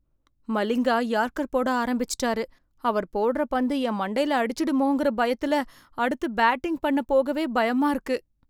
Malinga yorker போட ஆரம்பிச்சிட்டாரு, அவர் போடுற பந்து என் மண்டைல அடிச்சிடுமோங்கற பயத்துல அடுத்து பேட்டிங் பண்ண போகவே பயமா இருக்கு.